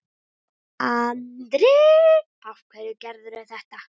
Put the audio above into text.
Andri: Af hverju gerirðu það?